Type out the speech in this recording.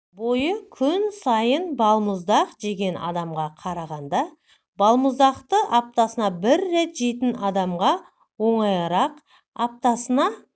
бойы күн сайын балмұздақ жеген адамға қарағандағ балмұздақты аптасына бір рет жейтін адамға оңайырақ аптасына